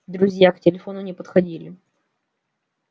друзья к телефону не подходили